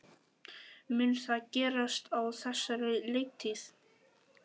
Mun það gerast á þessari leiktíð?